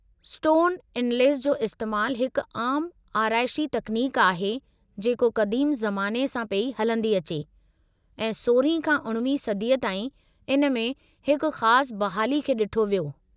Stone inlays जो इस्तेमालु हिकु आमु आराइशी तकनीक आहे जेको क़दीम ज़माने सां पेई हलंदी अचे, ऐं 16हीं खां 19 सदीअ ताईं इन में हिकु ख़ासि बहाली खे ॾिठो वियो।